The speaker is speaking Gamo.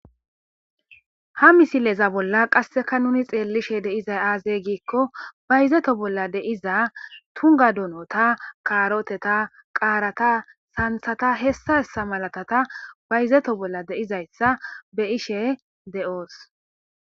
Ha misileza bolla qasseka nuni xeelishe deizay aazey giikko bayzeto bolla deiza tunga dunota kaaroteta qaarata santhata hessa hessa malatata bayzeto bolla deizayssa be ishe de'oos.